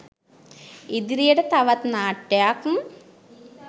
ඉදිරියට තවත් නාට්‍යයක්